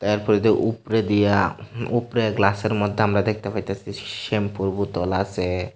তারপরে দেউ উপরে দিয়া উপরে গ্লাসের মধ্যে আমরা দেখতে পাইতাসি শ্যাম্পুর বোতল আসে।